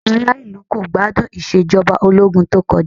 Àwọn ará ìlú kò gbádùn Ìṣèjọba Ológun tó kọjá